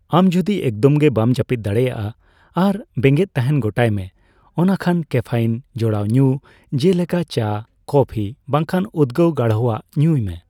ᱟᱢ ᱡᱚᱫᱤ ᱮᱠᱫᱚᱢᱜᱮ ᱵᱟᱢ ᱡᱟᱹᱯᱤᱫ ᱫᱟᱲᱮᱭᱟᱜᱼᱟ ᱟᱨ ᱵᱮᱸᱜᱮᱫ ᱛᱟᱦᱮᱱ ᱜᱚᱴᱟᱭ ᱢᱮ, ᱚᱱᱟ ᱠᱷᱟᱱ ᱠᱮᱯᱷᱮᱤᱱ ᱡᱚᱲᱟᱣ ᱧᱩ ᱡᱮᱞᱮᱠᱟ ᱪᱟ, ᱠᱚᱯᱷᱤ ᱵᱟᱝᱠᱷᱟᱱ ᱩᱫᱜᱟᱹᱣ ᱜᱟᱲᱦᱚ ᱟᱜ ᱧᱩᱭ ᱢᱮ ᱾